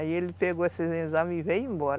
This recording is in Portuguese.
Aí ele pegou esses exames e veio embora.